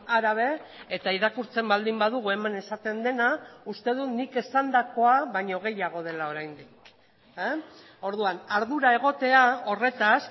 árabe eta irakurtzen baldin badugu hemen esaten dena uste dut nik esandakoa baino gehiago dela oraindik orduan ardura egotea horretaz